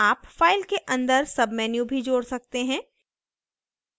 आप file के अंदर menu भी जोड़ सकते हैं